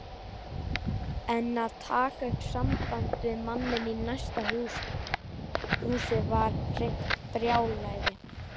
En að taka upp samband við manninn í næsta húsi var hreint brjálæði.